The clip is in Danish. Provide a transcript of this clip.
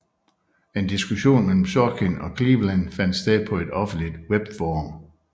En diskussion mellem Sorkin og Cleveland fandt sted på et offentligt webforum